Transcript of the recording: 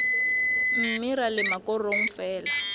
mme ra lema korong fela